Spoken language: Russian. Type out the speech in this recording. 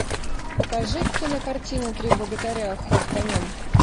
покажи кинокартину три богатыря ход конем